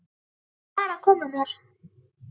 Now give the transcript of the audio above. Verð að fara að koma mér.